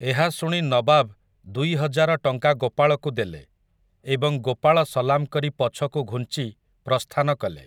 ଏହା ଶୁଣି ନବାବ୍ ଦୁଇ ହଜାର ଟଙ୍କା ଗୋପାଳକୁ ଦେଲେ ଏବଂ ଗୋପାଳ ସଲାମ୍ କରି ପଛକୁ ଘୁଂଚି ପ୍ରସ୍ଥାନ କଲେ ।